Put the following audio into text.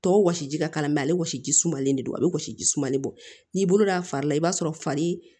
Tɔw wɔsi ji ka mɛ ale si sumalen de don a bɛ wɔsi ji sumanlen bɔ n'i bolo don a fari la i b'a sɔrɔ fari